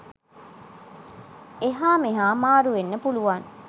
එහා මෙහා මාරු වෙන්න පුළුවන්.